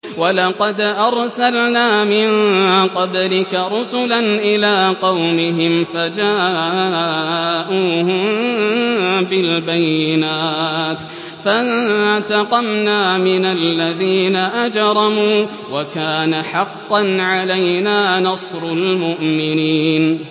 وَلَقَدْ أَرْسَلْنَا مِن قَبْلِكَ رُسُلًا إِلَىٰ قَوْمِهِمْ فَجَاءُوهُم بِالْبَيِّنَاتِ فَانتَقَمْنَا مِنَ الَّذِينَ أَجْرَمُوا ۖ وَكَانَ حَقًّا عَلَيْنَا نَصْرُ الْمُؤْمِنِينَ